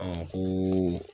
ko